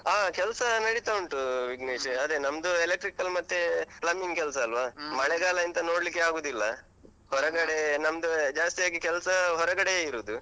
ಅಹ್ ಕೆಲ್ಸಾ ನಡಿತಾ ಉಂಟು ವಿಘ್ನೇಶ್ . ಅದೇ ನಮ್ದು electrical ಮತ್ತೇ plumbing ಕೆಲ್ಸ ಅಲ್ವಾ, ಎಂತ ನೋಡ್ಲಿಕ್ಕೆ ಆಗುದಿಲ್ಲ. ನಮ್ದು ಜಾಸ್ತಿ ಆಗಿ ಕೆಲ್ಸ ಹೊರಗಡೆ ಇರುದು.